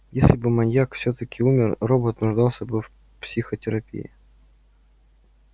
если бы маньяк вёе-таки умер робот нуждался бы в психотерапии